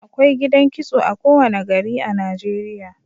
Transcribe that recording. Akwai gidan kitso a kowane gari a Najeriya